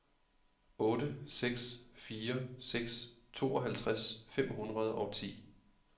otte seks fire seks tooghalvtreds fem hundrede og ti